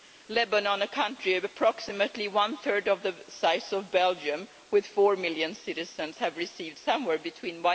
Lebanon, a country approximately one third of the size of Belgium with 4 million citizens, has received somewhere between